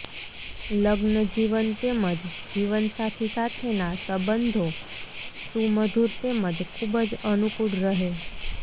લગ્નજીવન તેમજ જીવનસાથી સાથેના સંબંધો સુમધુર તેમજ ખૂબ જ અનુકૂળ રહે